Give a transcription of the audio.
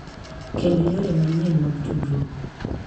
Kendo yore manyien mag tudruok,